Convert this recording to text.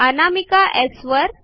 अनामिका स् वर